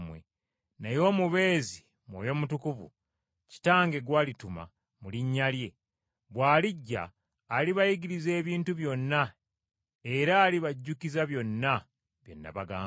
Naye Omubeezi, Mwoyo Mutukuvu, Kitange gw’alituma mu linnya lyange, bw’alijja alibayigiriza ebintu byonna era alibajjukiza byonna bye nabagamba.